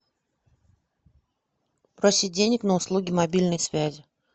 просить денег на услуги мобильной связи